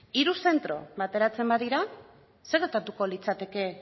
hiru zentro bateratzen badira zer gertatuko litzateke